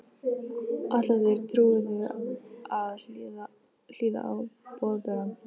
Ætla þeir trúuðu að hlýða á Boðberann?